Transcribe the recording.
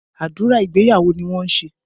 Àdúrà ìgbéyàwó ni wọ́n ń ṣe